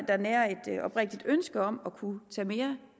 der nærer et oprigtigt ønske om at kunne tage mere